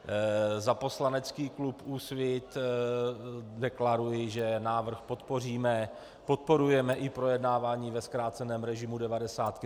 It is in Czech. Za poslanecký klub Úsvit deklaruji, že návrh podpoříme, podporujeme i projednávání ve zkráceném režimu devadesátky.